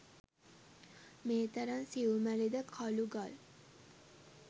මේ තරම් සියුමැලි ද කළු ගල්